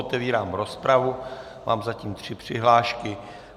Otevírám rozpravu, mám zatím tři přihlášky.